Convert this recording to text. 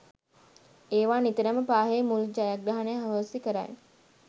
ඒවා නිතරම පාහේ මුල් ජයග්‍රහණය අහෝසි කරයි